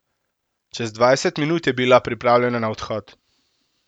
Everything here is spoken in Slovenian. Čez dvajset minut je bila pripravljena na odhod.